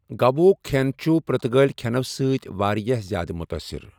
گوٗا ہُک کھٮ۪ن چھُ پرتگٲلی کھٮ۪نو سۭتۍ واریاہ زیادٕ متٲثر۔